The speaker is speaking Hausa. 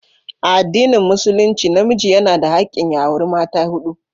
A addinin musulunci namiji yana da hakkin ya auri mata hudu.